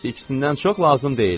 İkisindən çox lazım deyil.